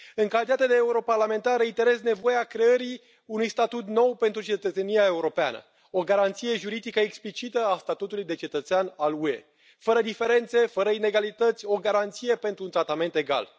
În calitate de europarlamentar, reiterez nevoia creării unui statut nou pentru cetățenia europeană, o garanție juridică explicită a statutului de cetățean al UE, fără diferențe, fără inegalități, o garanție pentru un tratament egal.